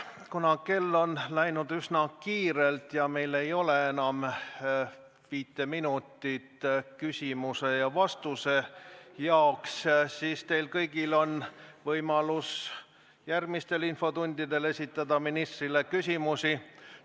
Kuna aeg on läinud üsna kiirelt ja meil ei ole enam viit minutit küsimuse ja vastuse jaoks, siis on teil kõigil võimalus järgmistes infotundides esitada ministritele küsimusi.